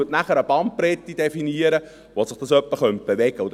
Der zweite Punkt definiert eine Bandbreite, wo sich das in etwa bewegen könnte.